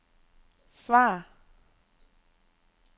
svar